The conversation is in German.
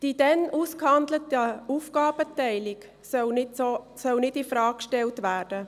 Die damals ausgehandelte Aufgabenteilung soll nicht infrage gestellt werden.